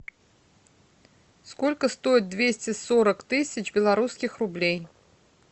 сколько стоит двести сорок тысяч белорусских рублей